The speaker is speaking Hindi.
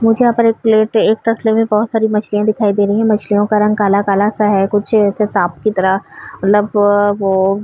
मुझे यहाँ पर एक प्लेट एक तसले में बहोत सारी मछलियाँ दिख रही हैं। मछलियों का रंग काला-काला सा है। कुछ ऐसे साँप की तरह मतलब लग --